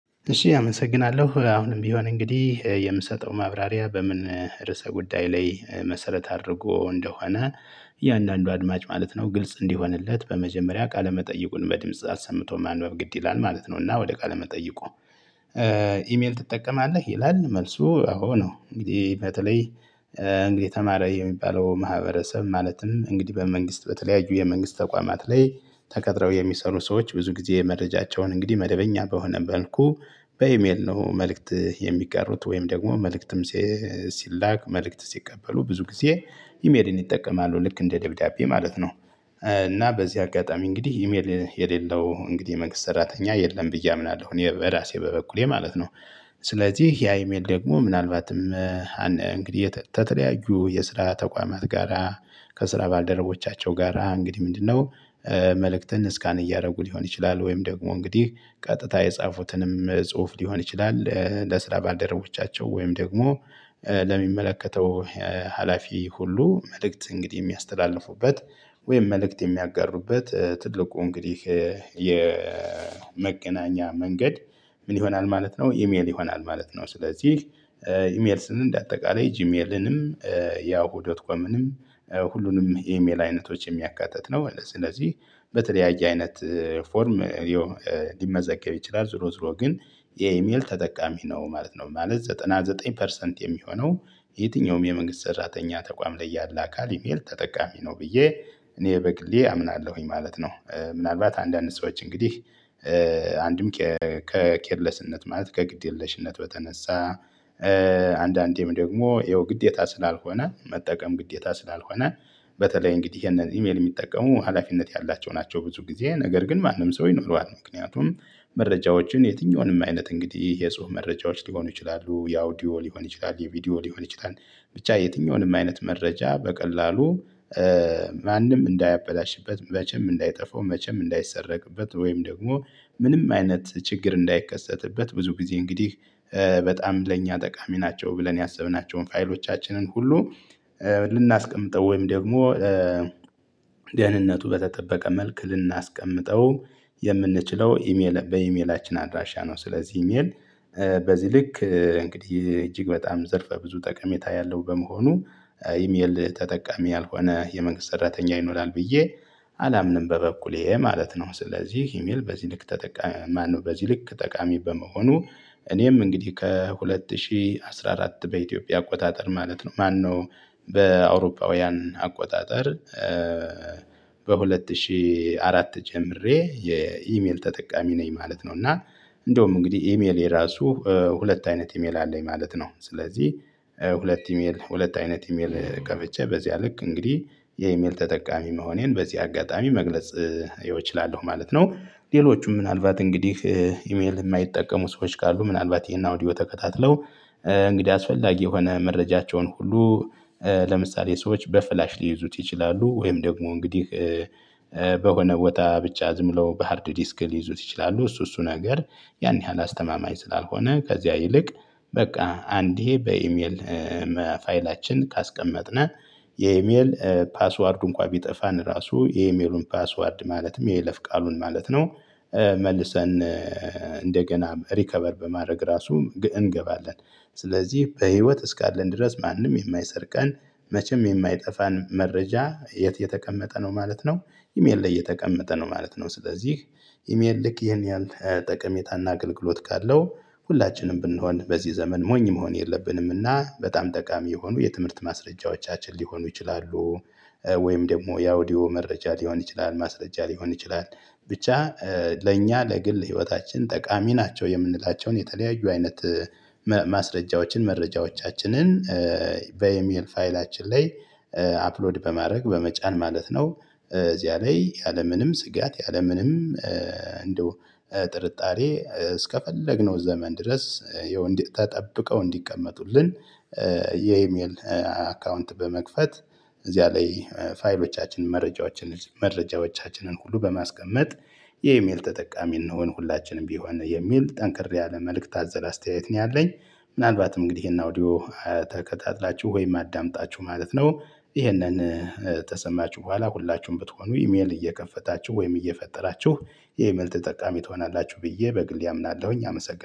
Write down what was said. እሺ አመሰግናለሁ አሁንም ቢሆን እንግዲህ የምሰጠው ማብራሪያ በምን ርዕሰ ጉዳይ ላይ መሰረት አድርጎ እንደሆነ እያንዳንዱ አድማጭ ማለት ነው። ግልጽ እንዲሆንለት በመጀመሪያ ቃለመጠይቁን በድምጽ አሰምቶ ማንበብ ግድ ይላል ማለት ነው። እና ወደ ቃለ መጠይቁ? ኢሜል ትጠቀማለህ ይላል መልሱ አዎ ነው። እንግዲህ በተለይ እንግዲህ ተማረ የሚባለው ማህበረሰብ ማለትም እንግዲህ በመንግስት በተለያዩ የመንግስት ተቋማት ላይ ተቀጥረው የሚሰሩ ሰዎች ብዙ ጊዜ የመረጃቸውን እንግዲህ መደበኛ በሆነ መልኩ በኢሜል ነው መልእክት የሚጋሩት ወይም ደግሞ መልእክትም ሲላክ መልእክት ሲቀበሉ ብዙ ጊዜ ኢሜልን ይጠቀማሉ ልክ እንደ ደብዳቤ ማለት ነው። እና በዚህ አጋጣሚ እንግዲህ ኢሜል የሌለው እንግዲህ መንግስት ሰራተኛ የለም ብዬ አምናለሁ እኔ በራሴ በበኩሌ ማለት ነው። ስለዚህ ያ ኢሜል ደግሞ ምናልባትም እንግዲህ የተተለያዩ የስራ ተቋማት ጋራ ከስራ ባልደረቦቻቸው ጋራ እንግዲህ ምንድነው? መልእክትን ስካን እያደረጉ ሊሆን ይችላል ወይም ደግሞ እንግዲህ ቀጥታ የጻፉትንም ጽሁፍ ሊሆን ይችላል ለስራ ባልደረቦቻቸው ወይም ደግሞ ለሚመለከተው ሀላፊ ሁሉ መልእክት እንግዲህ የሚያስተላልፉበት ወይም መልእክት የሚያጋሩበት ትልቁ እንግዲህ የመገናኛ መንገድ ምን ይሆናል ማለት ነው ኢሜል ይሆናል ማለት ነው። ስለዚህ ኢሜል ስንል እንደ አጠቃላይ ጂሜልንም ያው ያሁ ዶትኮምንም ሁሉንም ኢሜል አይነቶች የሚያካትት ነው። ስለዚህ በተለያየ አይነት ፎርም ሊመዘገብ ይችላል ዝሮ ዝሮ ግን የኢሜል ተጠቃሚ ነው ማለት ነው። ማለት ዘጠና ዘጠኝ ፐርሰንት የሚሆነው የትኛውም የመንግስት ሰራተኛ ተቋም ላይ ያለ አካል ኢሜል ተጠቃሚ ነው ብዬ እኔ በግሌ አምናለሁኝ ማለት ነው። ምናልባት አንዳንድ ሰዎች እንግዲህ አንድም ከኬርለስነት ማለት ከግድ የለሽነት በተነሳ አንዳንዴም ደግሞ ይኸው ግዴታ ስላልሆነ መጠቀም ግዴታ ስላልሆነ በተለይ እንግዲህ እነዚህ ኢሜል የሚጠቀሙ ሀላፊነት ያላቸው ናቸው። ብዙ ጊዜ ነገር ግን ማንም ሰው ይኖረዋል ምክንያቱም መረጃዎችን የትኛውንም አይነት እንግዲህ የጽሁፍ መረጃዎች ሊሆኑ ይችላሉ የአውዲዮ ሊሆን ይችላል የቪዲዮ ሊሆን ይችላል። ብቻ የትኛውንም አይነት መረጃ በቀላሉ ማንም እንዳያበላሽበት መቼም እንዳይጠፋው መቼም እንዳይሰረቅበት ወይም ደግሞ ምንም አይነት ችግር እንዳይከሰትበት ብዙ ጊዜ እንግዲህ በጣም ለእኛ ጠቃሚ ናቸው ብለን ያሰብናቸውን ፋይሎቻችንን ሁሉ ልናስቀምጠው ወይም ደግሞ ደህንነቱ በተጠበቀ መልክ ልናስቀምጠው የምንችለው ኢሜል በኢሜላችን አድራሻ ነው። ስለዚህ ኢሜል በዚህ ልክ እንግዲህ እጅግ በጣም ዘርፈ ብዙ ጠቀሜታ ያለው በመሆኑ ኢሜል ተጠቃሚ ያልሆነ የመንግስት ሰራተኛ ይኖራል ብዬ አላምንም በበኩሌ ማለት ነው። ስለዚህ ኢሜል በዚህ ልክ ተጠቃሚ ማነው? በዚህ ልክ ጠቃሚ በመሆኑ እኔም እንግዲህ ከሁለት ሺህ አስራ አራት በኢትዮጵያ አቆጣጠር ማለት ነው ማነው በአውሮፓውያን አቆጣጠር በሁለት ሺህ አራት ጀምሬ የኢሜል ተጠቃሚ ነኝ ማለት ነው። እና እንደውም እንግዲህ ኢሜል የራሱ ሁለት አይነት ኢሜል አለኝ ማለት ነው። ስለዚህ ሁለት ኢሜል ሁለት አይነት ኢሜል ከፍቼ በዚያ ልክ እንግዲህ የኢሜል ተጠቃሚ መሆኔን በዚህ አጋጣሚ መግለጽ ይኸው እችላለሁ ማለት ነው። ሌሎቹም ምናልባት እንግዲህ ኢሜል የማይጠቀሙ ሰዎች ካሉ ምናልባት ይሄን አውዲዮ ተከታትለው እንግዲህ አስፈላጊ የሆነ መረጃቸውን ሁሉ ለምሳሌ ሰዎች በፍላሽ ሊይዙት ይችላሉ ወይም ደግሞ እንግዲህ በሆነ ወጣ ብቻ ዝም ብሎ በሃርድ ዲስክ ሊይዙት ይችላሉ። እሱ እሱ ነገር ያን ያህል አስተማማኝ ስላልሆነ ከዚያ ይልቅ በቃ አንዴ በኢሜል ፋይላችን ካስቀመጥነው የኢሜል ፓስዋርድ እንኳን ቢጠፋን ራሱ የኢሜሉን ፓስዋርድ ማለትም የለፍ ቃሉን ማለት ነው። መልሰን እንደገና ሪከቨር በማድረግ ራሱ ምግእን እንገባለን። ስለዚህ በህይወት እስካለን ድረስ ማንም የማይሰር ቀን መቼም የማይጠፋን መረጃ የት የተቀመጠ ነው ማለት ነው። ኢሜል ላይ የተቀመጠ ነው ማለት ነው። ስለዚህ ኢሜል ልክ ይሄን ያህል ጠቀሜታና አገልግሎት ካለው ሁላችንም ብንሆን በዚህ ዘመን ሞኝ መሆን የለብንምና በጣም ጠቃሚ የሆኑ የትምህርት ማስረጃዎቻችን ሊሆኑ ይችላሉ። ወይም ደግሞ የአውዲዮ መረጃ ሊሆን ይችላል ማስረጃ ሊሆን ይችላል። ብቻ ለእኛ ለግል ህይወታችን ጠቃሚ ናቸው የምንላቸውን የተለያዩ አይነት ማስረጃዎችን መረጃዎቻችንን በኤሜል ፋይላችን ላይ አፕሎድ በማድረግ በመጫን ማለት ነው። እዚያ ላይ ያለምንም ስጋት ያለምንም እንደው ጥርጣሬ እስከፈለግነው ዘመን ድረስ የወንድ ተጠብቀው እንዲቀመጡልን። የኢሜል አካውንት በመክፈት እዚያ ላይ ፋይሎቻችን መረጃዎቻችንን መረጃዎቻችንን ሁሉ በማስቀመጥ የኢሜል ተጠቃሚ እንሁን ሁላችንም ቢሆን የሚል ጠንከር ያለ መልእክት አዘል አስተያየት ነው ያለኝ። ምናልባትም እንግዲህ ይሄን አውዲዮ ተከታትላችሁ ወይም አዳምጣችሁ ማለት ነው ይሄንን ተሰማችሁ በኋላ ሁላችሁም ብትሆኑ ኢሜል እየከፈታችሁ ወይም እየፈጠራችሁ የኢሜል ተጠቃሚ ትሆናላችሁ ብዬ በግሌ አምናለሁኝ። አመሰግናለሁ